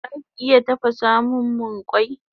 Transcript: Zaki iya tafasamun mun kwai?